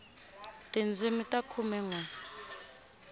tindzimi ta khume nwe